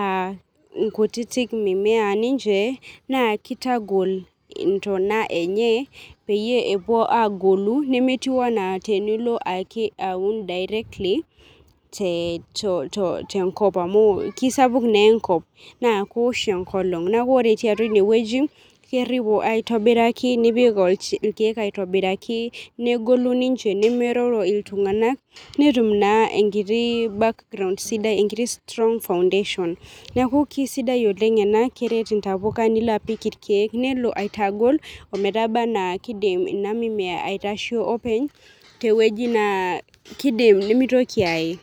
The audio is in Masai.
aankutiti mimea ninche nakitagol kuna tana enye peyie epuo agolu pemelo atiu ana tenilo aun directly te tenkop amukesapuk enkolong na kewosh na enkolong neaku ore eti atua inewueji keripo aitobiraki negolu ninche nemroro ltunganak netum naa enkiti background sidai neaku kesidai ena oleng keret ntqpuka kelo aret irkiek nelo aitagol ometaba na kidim ina mimea aitasho openy, tewueji na kidim pemitoki aaee.